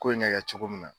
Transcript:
Ko in ɲɛ kɛ cogo min na